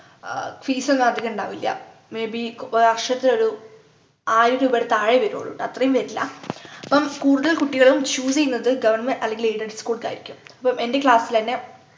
ആഹ് fees ഒന്നും അധികം ഇണ്ടാവില്ല may be ഒരു വർഷത്തിൽ ഒരു ആയിരം രൂപയുടെ താഴെയേ വരുള്ളൂ ട്ടോ അത്രേം വരില്ല അപ്പം കൂടുതൽ കുട്ടികളും choose ചെയ്യുന്നത് government അല്ലെങ്കിൽ aided school ക്കായിരിക്കും അപ്പം എന്റെ class ലെന്നെ